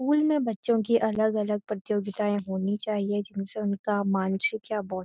school में बच्‍चों की अलग-अलग प्रतियोगिताएं होनी चाहिए जिनसे उनका मानसिक या बौ --